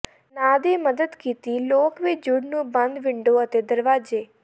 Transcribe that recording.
ਨਾ ਦੀ ਮਦਦ ਕੀਤੀ ਲੋਕ ਵੀ ਜੂੜ ਨੂੰ ਬੰਦ ਵਿੰਡੋ ਅਤੇ ਦਰਵਾਜ਼ੇ